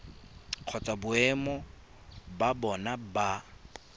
kgotsa boemo ba bona ba